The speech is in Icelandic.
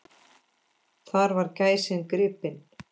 Þar var gæsin gripin.